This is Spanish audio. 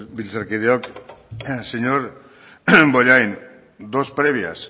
legebiltzarkideok señor bollain dos previas